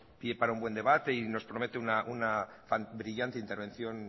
pie para un buen debate y nos promete brillante intervención